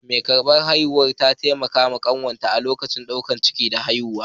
Mai ƙarɓar haihuwar ta taimaka wa kanwata a lokacin ɗaukar ciki da haihuwa.